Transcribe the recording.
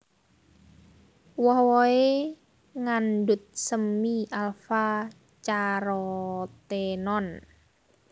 Woh wohé ngandhut semi alfa carotenone